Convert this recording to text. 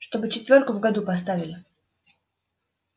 чтобы четвёрку в году поставили